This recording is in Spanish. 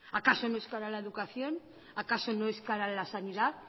acaso no es cara la educación acaso no es cara la sanidad